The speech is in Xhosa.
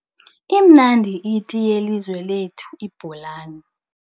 Imnandi iti yelizwe lethu ibholani.